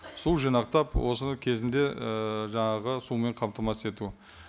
су жинақтап осы кезінде ііі жаңағы сумен қамтамасыз ету